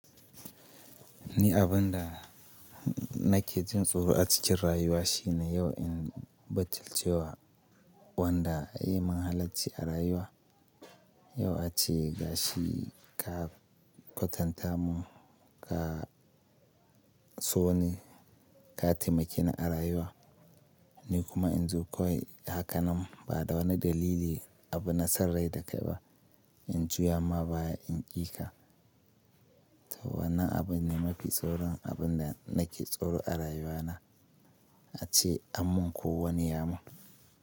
Ni abin da nake jin tsoro a cikin rayuwa shine yau in butilce wa wanda ya yi min halarci a rayuwa, yau ace gashi ka kwatanta mu ka so ne, ka taimakeni a rayuwa ni kuma in zo kawai hakanan ba da wani dalili abu na son rai dakai ba. In juya ma baya in ƙi ka. To wannan abu ne mafi tsoron abin da nake tsoro a rayuwa na, ace anmun ko wani yamun.